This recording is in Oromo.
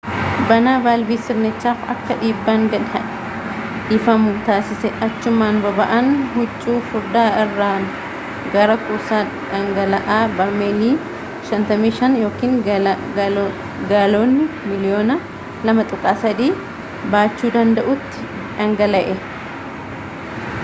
banaan vaalvii sirnichaaf akka dhiibbaan gad dhiifamu taasise achumaan boba’aan huccuu furdaa irraan gara kuusaa dhangala’aa barmeelii 55,000 gaaloonii miliyoona 2.3 baachuu danda’utti dhangala’e